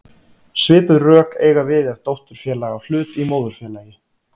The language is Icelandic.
Svipuð rök eiga við ef dótturfélag á hlut í móðurfélagi.